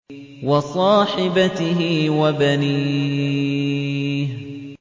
وَصَاحِبَتِهِ وَبَنِيهِ